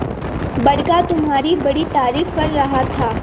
बड़का तुम्हारी बड़ी तारीफ कर रहा था